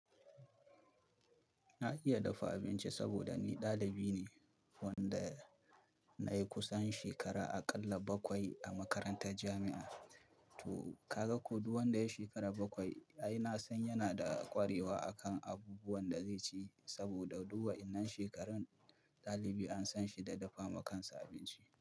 Na iya dafa abinci saboda ni dalibi ne wanda nayi kusan shekara aƙalla bakwai a makarantar jami'a. To ka ga ko duk wanda ya shekara bakwai ai na san yana da ƙwarewa a kan abubuwan da zai ci. Saboda duk wa'inan shekarun dalibi an san shi da dafa ma kan sa abinci.